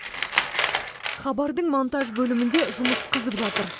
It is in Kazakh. хабардың монтаж бөлімінде жұмыс қызып жатыр